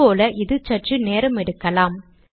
முன் போல் இது சற்று நேரமெடுக்கலாம்